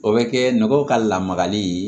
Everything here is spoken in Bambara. O bɛ kɛ mɔgɔw ka lamarali ye